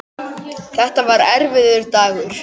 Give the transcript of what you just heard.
Þetta var erfiður dagur.